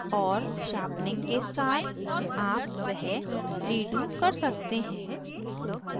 और sharpening के साथ आप वह redo कर सकते हैं